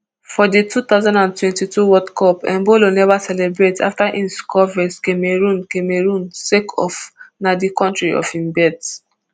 for di two thousand and twenty-two world cup embolo neva celebrate afta im score vs cameroon cameroon sake of na di kontri of im birth